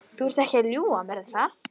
Þú ert ekki að ljúga að mér, er það?